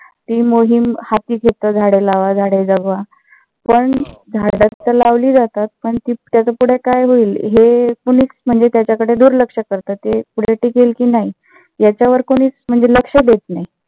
मोहीम हाती घेतं. झाडे लावा झाडे जगवा. पण झाडं तर लावली जातात पण त्याच पुढे काय होईल. हे कोणीच म्हणजे त्याच्याकडे दुर्लक्ष करता ते पुढे टिकेल कि नाही याच्यावर कोणीच लक्ष देत नाही.